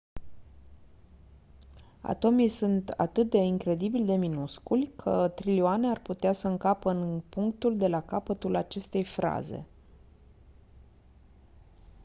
atomii sunt atât de incredibil de minusculi că trilioane ar putea să încapă în punctul de la capătul acestei fraze